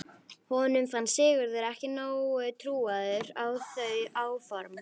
Honum fannst Sigurður ekki nógu trúaður á þau áform.